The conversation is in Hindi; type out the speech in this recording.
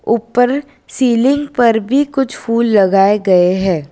ऊपर सीलिंग पर भी कुछ फूल लगाए गए है।